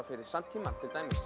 fyrir samtímann til dæmis